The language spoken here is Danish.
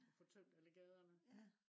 og få tømt alle gaderne